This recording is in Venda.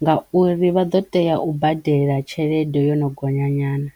ngauri vha ḓo teya u badela tshelede yo no gonya nyana.